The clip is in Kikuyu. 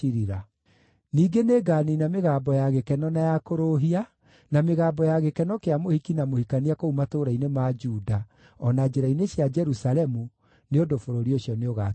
Ningĩ nĩnganiina mĩgambo ya gĩkeno na ya kũrũũhia, na mĩgambo ya gĩkeno kĩa mũhiki na mũhikania kũu matũũra-inĩ ma Juda, o na njĩra-inĩ cia Jerusalemu, nĩ ũndũ bũrũri ũcio nĩũgakira ihooru.